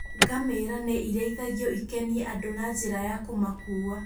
Ngamĩra nĩ irĩithagio ikenie andũ na njĩra ya kũmakua.